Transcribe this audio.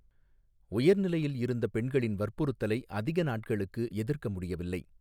உயர்நிலையில் இருந்த பெண்களின் வற்புறுத்தலை அதிக நாட்களுக்கு எதிர்க்க முடியவில்லை.